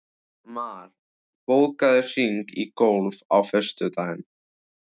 Mar, bókaðu hring í golf á föstudaginn.